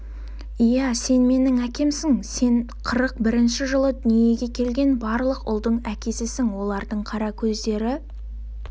иә сен менің әкемсің сен қырық бірінші жылы дүниеге келген барлық ұлдың әкесісің олардың қара көздері